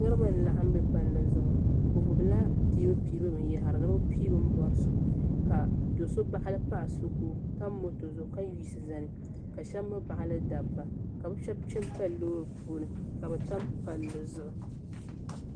niraba n laɣam bɛ palli zuɣu bi gbubila piibu piibu binyahri ni bi pii bi ni bɔri so ka do so baɣali paɣa so ka o tam moto zuɣu ka yiɣisi zani ka shab mii baɣali dabba ka bi shab kpɛ n pali loori puuni ka bi tam palli zuɣu